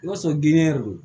I b'a sɔrɔ ginde yɛrɛ de don